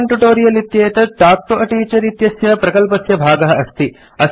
spoken tutorial इत्येतत् talk to a teacher इत्यस्य प्रकल्पस्य भागः अस्ति